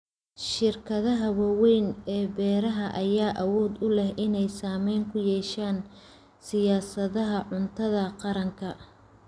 Shirkadaha waaweyn ee beeraha ayaa awood u leh inay saameyn ku yeeshaan siyaasadaha cuntada qaranka.